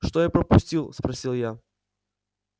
что я пропустил спросил я